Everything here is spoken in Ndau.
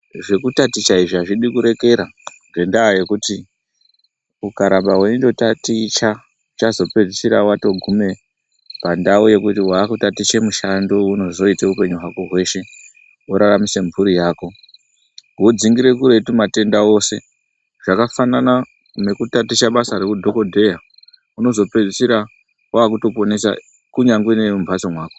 Zvekutaticha izvi hazvidi kurekera ngendaa yekuti ukaramba veindo taticha uchazopedzisira vatogume pandau yekuti vakutatiche mishando vaunozoite upenyu hwako hweshe voraramise mhuri yako. Vodzingire kuretu matenda ose zvakafanana nekutatiche basa reudhogodheya unozopedzisira vakutoponesa kunyange neve mumhatso mako.